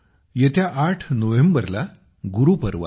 येत्या 8 नोव्हेंबरला गुरुपर्व आहे